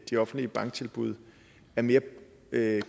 de offentlige banktilbud er mere